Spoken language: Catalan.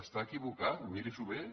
està equivocat miri s’ho bé